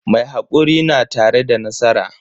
Mai hakuri na tare da nasara.